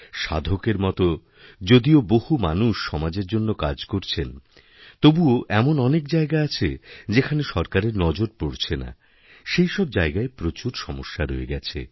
সাধকের মত যদিও বহু মানুষ সমাজেরজন্য কাজ করছেন তবুও এমন অনেক জায়গা আছে যেখানে সরকারের নজর পড়ছে না সেইসবজায়গায় প্রচুর সমস্যা রয়ে গেছে